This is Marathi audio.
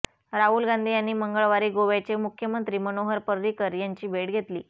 राहुल गांधी यांनी मंगळवारी गोव्याचे मुख्यमंत्री मनोहर पर्रिकर यांची भेट घेतली